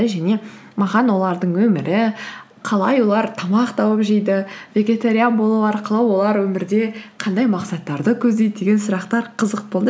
және маған олардың өмірі қалай олар тамақ тауып жейді вегетариан болу арқылы олар өмірде қандай мақсаттарды көздейді деген сұрақтар қызық болды